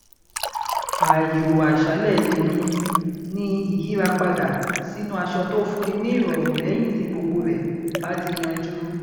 ààyò àṣálẹ tèmi ni ìyíra padà sínú aṣọ tó fún ni ní ìrọrùn lẹyìn tí gbogbo rẹ bá ti yanjú